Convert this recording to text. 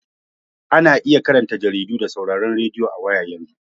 Ana iya karanta jaridu da sauraron radiyo a waya yanzu.